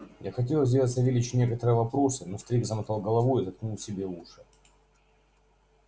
я хотел сделать савельичу некоторые вопросы но старик замотал головою и заткнул себе уши